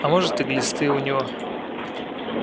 а может и глисты у него